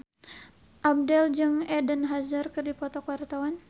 Abdel jeung Eden Hazard keur dipoto ku wartawan